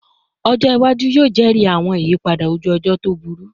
Ọjọ iwaju yoo jẹri awọn iyipada oju-ọjọ to buruju